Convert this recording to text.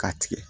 K'a tigɛ